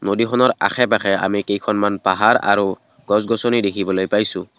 নদীখনৰ আশে পাশে আমি কেইখনমান পাহাৰ আৰু গছ গছনি দেখিবলৈ পাইছোঁ।